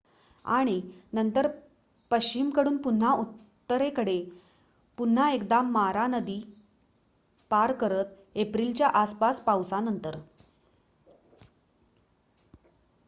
आणि नंतर पश्चिमकडून पुन्हा उत्तरेकडे पुन्हा एकदा मारा नदी पार करत एप्रिलच्या आसपास पावसानंतर